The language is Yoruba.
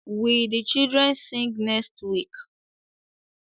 Will the children sing next week?